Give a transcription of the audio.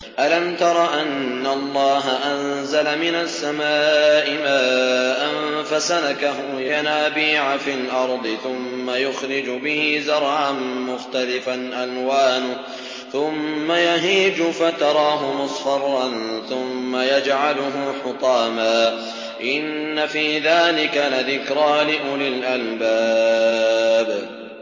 أَلَمْ تَرَ أَنَّ اللَّهَ أَنزَلَ مِنَ السَّمَاءِ مَاءً فَسَلَكَهُ يَنَابِيعَ فِي الْأَرْضِ ثُمَّ يُخْرِجُ بِهِ زَرْعًا مُّخْتَلِفًا أَلْوَانُهُ ثُمَّ يَهِيجُ فَتَرَاهُ مُصْفَرًّا ثُمَّ يَجْعَلُهُ حُطَامًا ۚ إِنَّ فِي ذَٰلِكَ لَذِكْرَىٰ لِأُولِي الْأَلْبَابِ